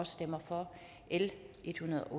stemmer for l ethundrede